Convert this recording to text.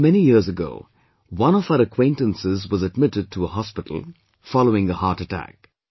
Once, many years ago, one of our acquaintances was admitted to a hospital, following a heart attack